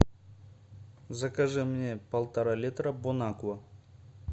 закажи мне полтора литра бонаква